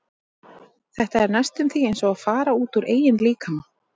Þetta er næstum því eins og að fara út úr eigin líkama.